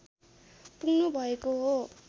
पुग्नुभएको हो